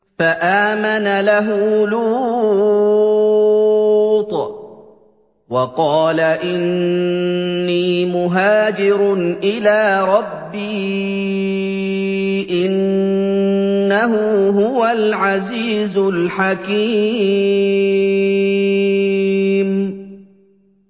۞ فَآمَنَ لَهُ لُوطٌ ۘ وَقَالَ إِنِّي مُهَاجِرٌ إِلَىٰ رَبِّي ۖ إِنَّهُ هُوَ الْعَزِيزُ الْحَكِيمُ